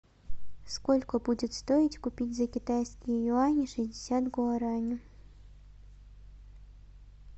сколько будет стоить купить за китайские юани шестьдесят гуарани